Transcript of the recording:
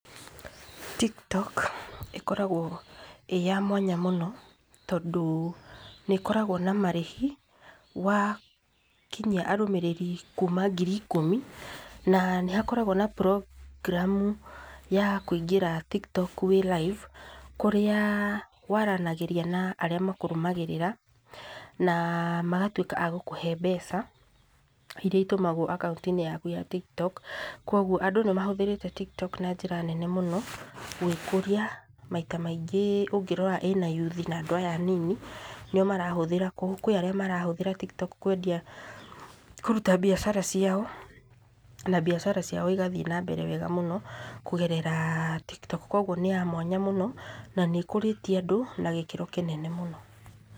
Tiktok ĩkoragwo ĩĩ ya mwanya mũno tondũ nĩ ĩkoragwo na marĩhi wakinyia arũmĩrĩri kuma ngiri ikũmi. Na nĩ hakoragwo na program ya kũingĩra Tiktok wĩ live, kũrĩa waranagĩrĩria na arĩa makũrũmagĩrĩa, na magatwĩka a gũkũhe mbeca iria itũmagwo akaũnti-inĩ yaku ya Tiktok. Kogwo andũ nĩ mahũthĩrĩte Tiktok na njĩra nene mũno gwĩkũria. Maita maingĩ ũngĩrora ĩna yuthi na andũ aya anini. Nĩo marahũthĩra, kwĩ arĩa marahũthĩra Tiktok kũruta mbiacara ciao, na mbiacara ciao igathiĩ na mbere wega mũno kũgerera Tiktok. Kogwo nĩ ya mwanya mũno, na ni ĩkũrĩtie andũ na gĩkĩro kĩnene mũno.